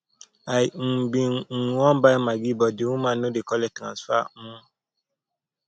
i um bin um wan buy maggi but the woman no dey collect transfer um